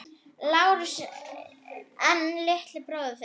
LÁRUS: En litli bróðir þinn?